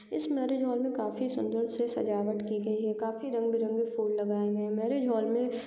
इस marriage hall में काफी सुंदर से सजावट की गई है। काफी रंग-बिरंगे फूल लगाए गए हैं। मैरिज हॉल में --